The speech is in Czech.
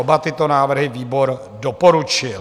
Oba tyto návrhy výbor doporučuje.